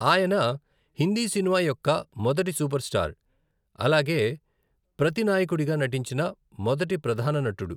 అయిన హిందీ సినిమా యొక్క మొదటి సూపర్ స్టార్, అలాగే ప్రతినాయకుడిగా నటించిన మొదటి ప్రధాన నటుడు.